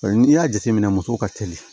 N'i y'a jateminɛ muso ka teli